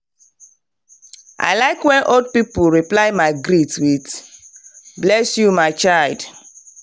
i like when old people reply my greet with “bless you my child.”